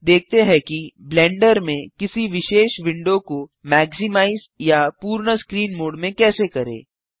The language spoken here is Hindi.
अब देखते हैं कि ब्लेंडर में किसी विशेष विंडो को मैक्सिमाइज या पूर्ण स्क्रीन मोड में कैसे करें